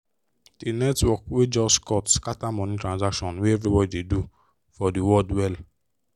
the network wey just cut scatter money transactions wey everybody dey do for the world well